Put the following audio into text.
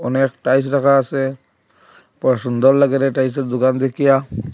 অনেক টাইলস রাখা আছে বড়ো সুন্দর লাগে রে টাইলসের দোকান দেখিয়া।